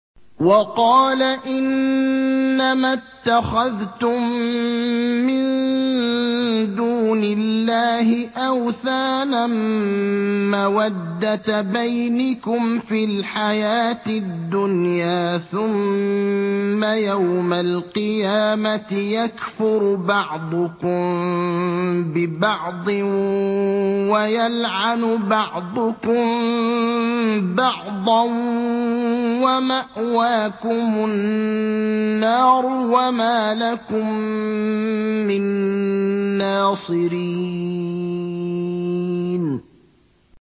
وَقَالَ إِنَّمَا اتَّخَذْتُم مِّن دُونِ اللَّهِ أَوْثَانًا مَّوَدَّةَ بَيْنِكُمْ فِي الْحَيَاةِ الدُّنْيَا ۖ ثُمَّ يَوْمَ الْقِيَامَةِ يَكْفُرُ بَعْضُكُم بِبَعْضٍ وَيَلْعَنُ بَعْضُكُم بَعْضًا وَمَأْوَاكُمُ النَّارُ وَمَا لَكُم مِّن نَّاصِرِينَ